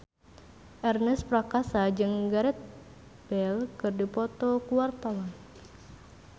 Ernest Prakasa jeung Gareth Bale keur dipoto ku wartawan